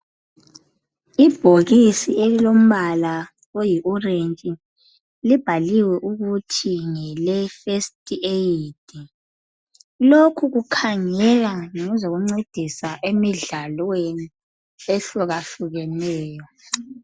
Ibhokisi elilombala oyi orange, libhaliwe ukuthi ngele first aid. Lokhu kukhangeka ngezokuncedisa emidlalweni ehlukahlukeneyo.